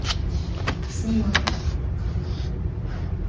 снимок